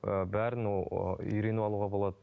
ы бәрін ол ыыы үйреніп алуға болады